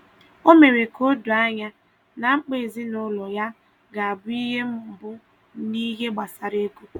Ọ mere ka o doo ànyá na mkpa ezinụlọ ya ga-abụ ihe mbụ n’ihe gbasara ego.